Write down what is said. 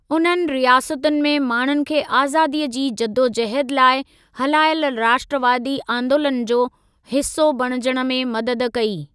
उन्हनि रियासतुनि में माण्हुनि खे आज़ादीअ जी जदोजहद लाइ हलायल राष्ट्रवादी आंदोलन जो हिस्सा बणिजण में मदद कई।